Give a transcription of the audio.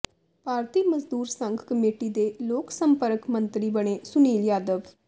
ਭਾਰਤੀ Mazdoor Sangh committee ਦੇ ਲੋਕ ਸੰਪਰਕ ਮੰਤਰੀ ਬਣੇ ਸੁਨੀਲ ਯਾਦਵ